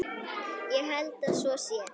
Ég held að svo sé.